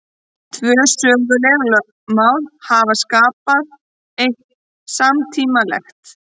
Tvö söguleg lögmál hafa skapað eitt samtímalegt.